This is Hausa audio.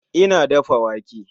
Ina dafa wake